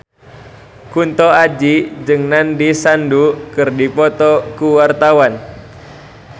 Kunto Aji jeung Nandish Sandhu keur dipoto ku wartawan